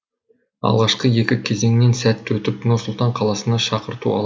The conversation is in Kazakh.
алғашқы екі кезеңнен сәтті өтіп нұр сұлтан қаласына шақырту